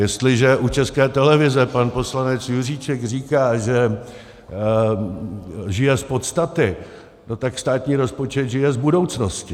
Jestliže u České televize pan poslanec Juříček říká, že žije z podstaty, no tak státní rozpočet žije z budoucnosti.